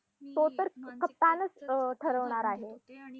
तो तर कप्तानच अं ठरवणार आहे